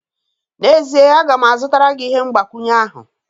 N'ezie, a ga m azụtara gị ihe mgbakwunye ahụ